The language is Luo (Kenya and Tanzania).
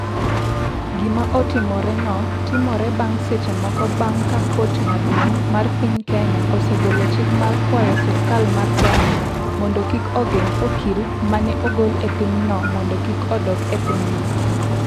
Gima otimoreno timore bang’ seche moko bang’ ka kot maduong’ mar piny Kenya osegolo chik ma kwayo sirkal mar Kenya mondo kik ogeng’ okil ma ne ogol e pinyno mondo kik odok e pinyno.